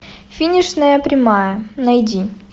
финишная прямая найди